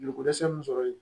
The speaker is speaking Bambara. Joliko dɛsɛ min sɔrɔ yen